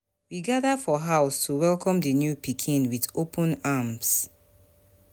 We gather for house to welcome di new pikin with open arms.